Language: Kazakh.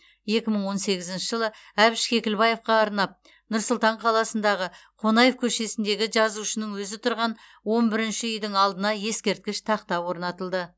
екі мың он сегізінші жылы әбіш кекілбаевқа арнап нұр сұлтан қаласындағы қонаев көшесіндегі жазушының өзі тұрған он бірінші үйдің алдына ескерткіш тақта орнатылды